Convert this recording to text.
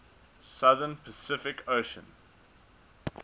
southern pacific ocean